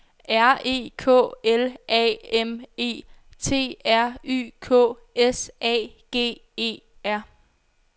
R E K L A M E T R Y K S A G E R